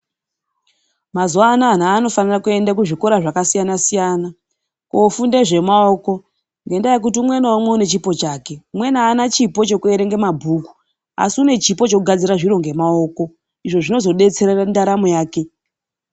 Mazuva anaya vantu vanofanira kuenda kuzvikora zvakasiyana-siyana kofunde zvemaoko. Ngendaa yekuti umwe naumwe ane chipo chake umweni haana chipo chekuverenga mabhuku asi une chipo chekugadzira zviro ngemaoko izvo zvinozobetsere ndaramo yake.